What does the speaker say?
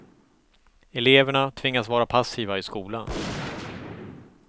Eleverna tvingas vara passiva i skolan.